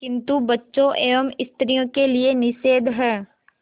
किंतु बच्चों एवं स्त्रियों के लिए निषेध है